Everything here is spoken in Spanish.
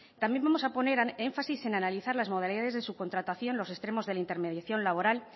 también vamos a poner énfasis en analizar las modalidades de subcontratación los extremos de la intermediación laboral